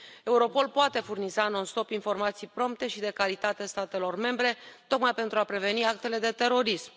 Europol poate furniza non stop informații prompte și de calitate statelor membre tocmai pentru a preveni actele de terorism.